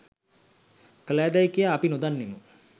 කළාදැයි කියා අප නොදන්නෙමු